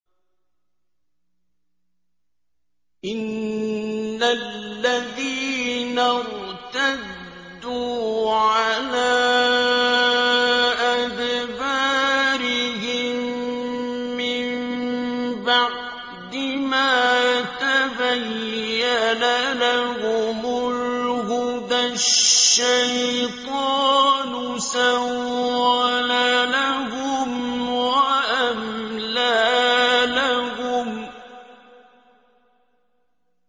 إِنَّ الَّذِينَ ارْتَدُّوا عَلَىٰ أَدْبَارِهِم مِّن بَعْدِ مَا تَبَيَّنَ لَهُمُ الْهُدَى ۙ الشَّيْطَانُ سَوَّلَ لَهُمْ وَأَمْلَىٰ لَهُمْ